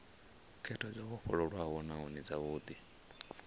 khetho dzo vhofholowaho nahone dzavhudi